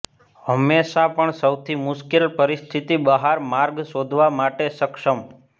હંમેશા પણ સૌથી મુશ્કેલ પરિસ્થિતિ બહાર માર્ગ શોધવા માટે સક્ષમ